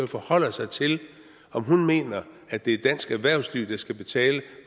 forholder sig til om hun mener at det er dansk erhvervsliv der skal betale